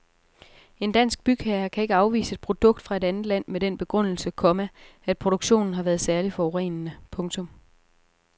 En dansk bygherre kan ikke afvise et produkt fra et andet land med den begrundelse, komma at produktionen har været særligt forurenende. punktum